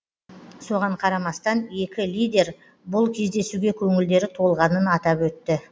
соған қарамастан екі лидер бұл кездесуге көңілдері толғанын атап өтті